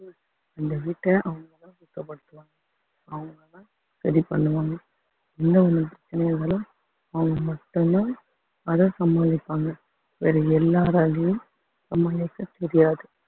இந்த வீட்டை அவங்கதான் சுத்தப்படுத்துவாங்க அவங்க தான் ready பண்ணுவாங்க என்ன அவங்க மட்டும் தான் அதை சமாளிப்பாங்க வேற எல்லாராலயும் சமாளிக்க தெரியாது